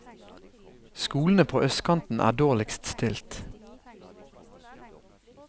Skolene på østkanten er dårligst stilt.